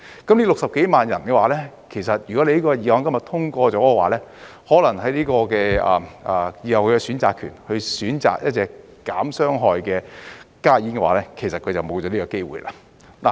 這60幾萬人，這項法案今日通過了的話，可能他們以後的選擇權，即去選擇一種減少傷害的加熱煙的話，他們便沒有這個機會了。